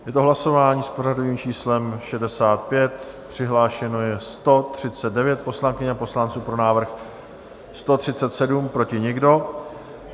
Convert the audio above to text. Je to hlasování s pořadovým číslem 65, přihlášeno je 139 poslankyň a poslanců, pro návrh 137, proti nikdo.